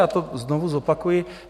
Já to znovu zopakuji.